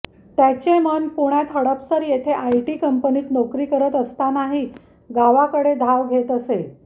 त्याचे मन पुण्यात हडपसर येथे आयटी कंपनीत नोकरी करत असतानाही गावाकडे धाव घेत असे